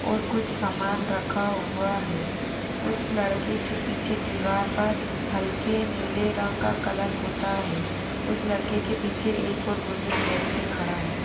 ओर कुछ समान रखा हुआ है उस लड़के के पीछे दीवार पर हल्के नीले रंग का कलर पोथा है उस लड़के के पीछे गुजूर व्यक्ति खड़ा है।